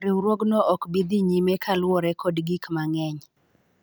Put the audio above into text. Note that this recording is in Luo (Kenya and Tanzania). riwruogno ok bi dhi nyime kaluwore kod gik mang'eny